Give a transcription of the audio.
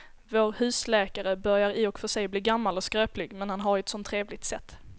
Vår husläkare börjar i och för sig bli gammal och skröplig, men han har ju ett sådant trevligt sätt!